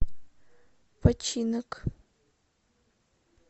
починок